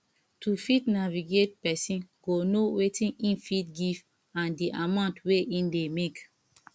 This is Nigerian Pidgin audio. to fit navigate person go know wetin im fit give and di amount wey im dey make